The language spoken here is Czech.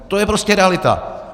To je prostě realita.